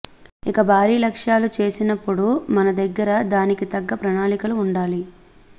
ఇక భారీ లక్ష్యాలు చేసినప్పుడు మనదగ్గర దానికి తగ్గ ప్రణాళికలు ఉండాలి